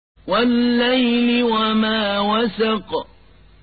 وَاللَّيْلِ وَمَا وَسَقَ